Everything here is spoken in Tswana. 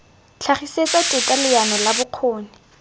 tlhagisetsa teta leano la bokgoni